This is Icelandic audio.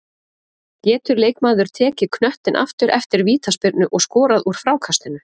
Getur leikmaður tekið knöttinn aftur eftir vítaspyrnu og skorað úr frákastinu?